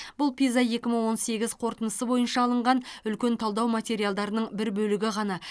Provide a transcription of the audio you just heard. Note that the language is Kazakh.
бұл пиза екі мың он сегіз қорытындысы бойынша алынған үлкен талдау материалдарының бір бөлігі ғана